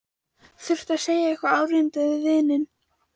Þurfti að segja eitthvað áríðandi við vininn.